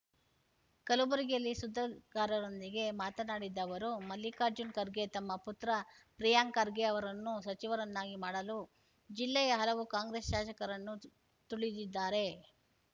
ಕಲಬುರಗಿಯಲ್ಲಿ ಸುದ್ದಿಗಾರರೊಂದಿಗೆ ಮಾತನಾಡಿದ ಅವರು ಮಲ್ಲಿಕಾರ್ಜುನ್ ಖರ್ಗೆ ತನ್ನ ಪುತ್ರ ಪ್ರಿಯಾಂಕ್ ಖರ್ಗೆ ಅವರನ್ನು ಸಚಿವರನ್ನಾಗಿ ಮಾಡಲು ಜಿಲ್ಲೆಯ ಹಲವು ಕಾಂಗ್ರೆಸ್ ಶಾಸಕರನ್ನು ತು ತುಳಿದಿದ್ದಾರೆ